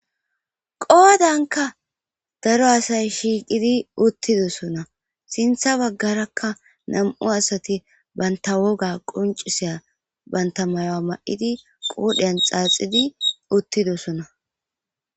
Qodanka daro asay shiqidi uthidosona sintan bagaraka nam'u asati banta woga qonc'isiya banta mayuwa ma'idi qodhiyan xaxidi uthidosona.